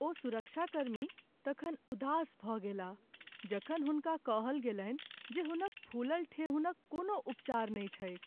ओ सुरक्षाकर्मी तखन उदास भऽ गेलाह जखन हुनका कहल गेलनि जे हुनक फूलल ठेहुनक कोनो उपचार नहि छैक।